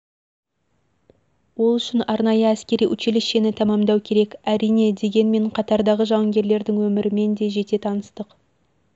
ол үшін арнайы әскери училищені тәмамдау керек әрине дегенмен дегенмен қатардағы жауынгерлердің өмірімен де жете таныстық